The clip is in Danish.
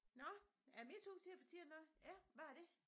Nåh er det min tur til at fortælle noget ja hvad er det